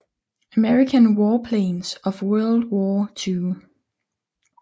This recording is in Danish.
American Warplanes of World War II